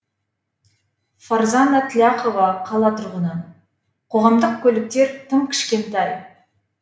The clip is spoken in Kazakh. фарзана тляхова қала тұрғыны қоғамдық көліктер тым кішкентай